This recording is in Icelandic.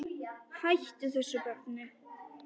Hættu þessu barn!